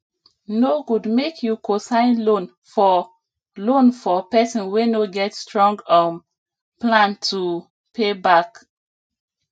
no good make you cosign loan for loan for person wey no get strong um plan to pay back